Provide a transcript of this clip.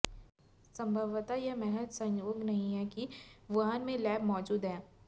संभवतः यह महज संयोग नहीं है कि वुहान में लैब मौजूद हैं